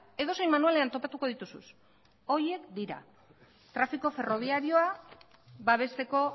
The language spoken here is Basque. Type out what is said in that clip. edozein manualean topatuko dituzu horiek dira trafiko ferrobiarioa babesteko